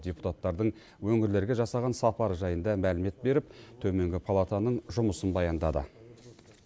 депутаттардың өңірлерге жасаған сапары жайында мәлімет беріп төменгі палатаның жұмысын баяндады